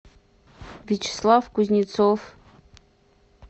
вячеслав кузнецов